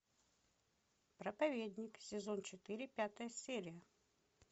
проповедник сезон четыре пятая серия